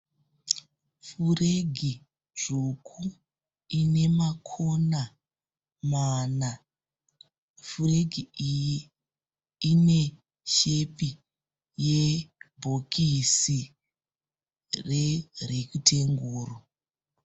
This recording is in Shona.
Furegi dzvuku ine makona mana. Furegi iyi ine shepi yebhokisi rerekitenguru.